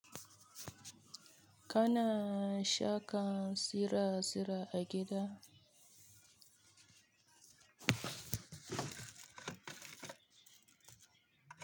Kana saka tsira-tsirai a gida?